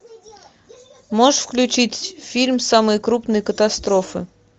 можешь включить фильм самые крупные катастрофы